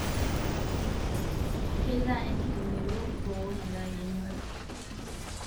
Keitaa enkiremero boo metaa kenyorii